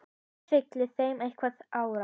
Það fylgir þeim einhver ára.